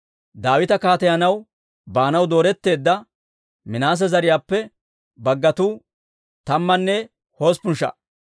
Daawita kaateyanaw baanaw dooretteedda Minaase zariyaappe baggatuu tammanne hosppun sha"a.